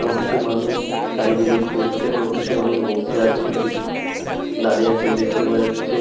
এবং কিছু মানুষ চারিদিকে ঘুরছেন এবং কিছু মানুষ বসে আছেন কিছু মানুষ দাঁড়িয়ে আছেন দেখতে পাওয়া যাচ্ছে।